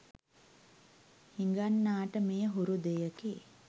හිඟන්නාට මෙය හුරු දෙයකි.